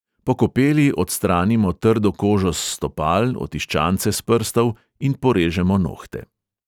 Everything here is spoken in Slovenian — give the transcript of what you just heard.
Po kopeli odstranimo trdo kožo s stopal, otiščance s prstov in porežemo nohte.